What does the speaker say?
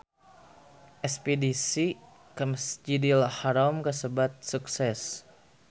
Espedisi ka Masjidil Haram kasebat sukses